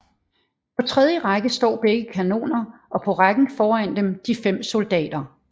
På tredje række står begge kanoner og på rækken foran dem de fem soldater